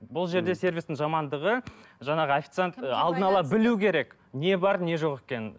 бұл жерде сервистің жамандығы жаңағы официант алдын ала білуі керек не бар не жоқ екенін